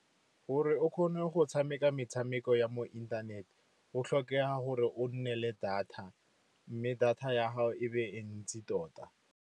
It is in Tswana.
Gore o kgone go tshameka metshameko ya mo inthaneteng o tlhokega gore o nne le data mme data ya gago e be e ntsi tota.